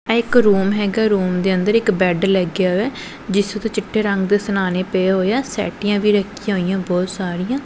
ਇੱਕ ਰੂਮ ਹੈਗਾ ਰੂਮ ਦੇ ਅੰਦਰ ਇੱਕ ਬੈਡ ਲੱਗਿਆ ਜਿਸ ਉੱਤੇ ਚਿੱਟੇ ਰੰਗ ਸਣਾਣੇ ਪਏ ਹੋਏ ਆ ਸੈਟੀਆਂ ਵੀ ਰੱਖੀਆਂ ਹੋਈਆਂ ਬਹੁਤ ਸਾਰੀਆਂ।